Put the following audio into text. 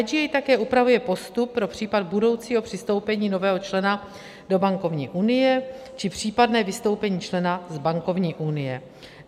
IGA také upravuje postup pro případ budoucího přistoupení nového člena do bankovní unie či případné vystoupení člena z bankovní unie.